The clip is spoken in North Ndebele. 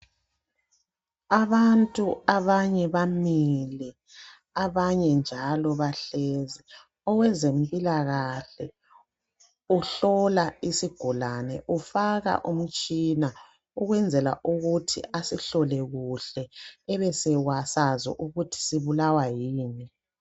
Abantu abanye bamile, abanye njalo bahlezi owezempilakahle uhlola isigulane ufaka umtshina ukwenzela ukuthi asihlole kuhle ebesibasazi ukuthi sibulawa yini.